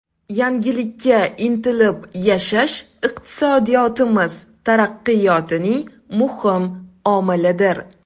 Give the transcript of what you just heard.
Yangilikka intilib yashash iqtisodiyotimiz taraqqiyotining muhim omilidir.